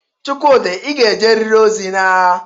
Chukwudi, I ga-ejerịrị ozi na agha!